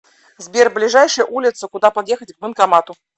сбер ближайшая улица куда подъехать к банкомату